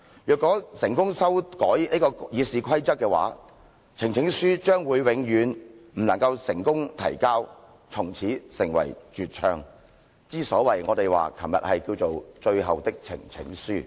如果成功修改《議事規則》的話，呈請書將永遠不能夠成功提交，從此成為絕唱，之所以我們昨天稱為最後的呈請書。